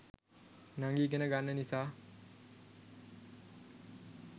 නංගි ඉගෙන ගන්න නිසා